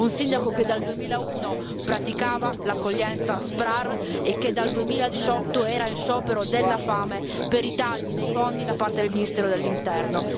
Un sindaco che dal 2001 praticava l'accoglienza SPRAR e che dal 2018 era in sciopero della fame per i tagli dei fondi da parte del ministero dell'Interno.